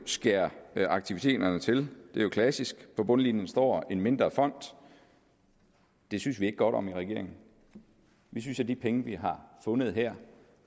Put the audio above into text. skære aktiviteterne til det er jo klassisk på bundlinjen står en mindre fond det synes vi ikke godt om i regeringen vi synes at de penge vi har fundet her